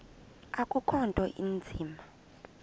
akukho nto inzima